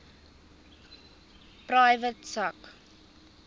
private sak